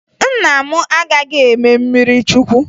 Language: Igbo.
Nna m agaghị eme mmirichukwu